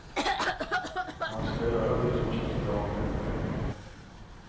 Man ska göra det som känns bra för en själv.